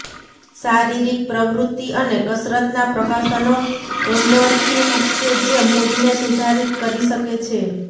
શારીરિક પ્રવૃત્તિ અને કસરતનાં પ્રકાશનો એન્ડોર્ફિન કે જે મૂડને સુધારિત કરી શકે છે